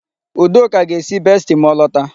Udoka ga-esi besti ma o lota.